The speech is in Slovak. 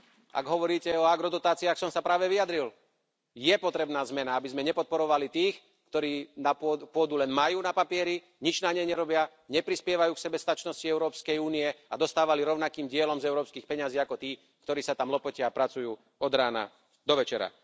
Ak hovoríte o agrodotáciách, práve som sa vyjadril. Je potrebná zmena, aby sme nepodporovali tých, ktorí pôdu len majú na papieri, nič na nej nerobia, neprispievajú k sebestačnosti Európskej únie a dostávali rovnakým dielom z európskych peňazí ako tí, ktorí sa tam lopotia a pracujú od rána do večera.